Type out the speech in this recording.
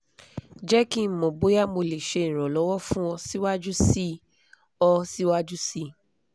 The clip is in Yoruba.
jẹ ki n mọ boya mo le ṣe iranlọwọ fun ọ siwaju sii ọ siwaju sii